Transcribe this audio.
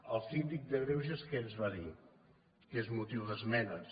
el síndic de greuges què ens va dir que és motiu d’esmenes